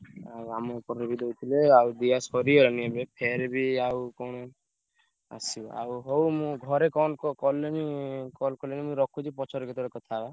ଆଉ ଆମ ଏପଟରେ ବି ଦଉଥିଲେ ଆଉ ଦିଆସରିଗଲାଣି ଏବେ ଫେରେ ବି ଆଉ କଣ ଆସିବ ଆଉ ହଉ ମୁଁ ଘରେ କନ~ କଲେଣି call କଲେଣି ମୁଁ ରଖୁଛି ପରେ କେତବେଳେ କଥା ହବା।